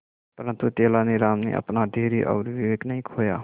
परंतु तेलानी राम ने अपना धैर्य और विवेक नहीं खोया